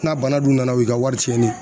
N'a bana dun nana u ka wari cɛnni ye.